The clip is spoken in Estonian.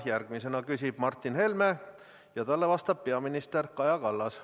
Järgmisena küsib Martin Helme ja talle vastab peaminister Kaja Kallas.